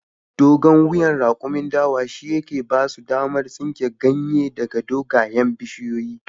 Dogon wuyan rakumin dawa shi yake basu damar tsinkan ganye daga dogayen bishiyoyi